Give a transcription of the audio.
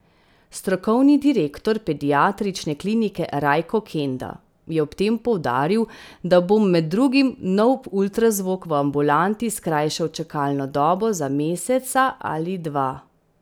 Strokovni direktor pediatrične klinike Rajko Kenda je ob tem poudaril, da bom med drugim nov ultrazvok v ambulanti skrajšal čakalno dobo za meseca ali dva.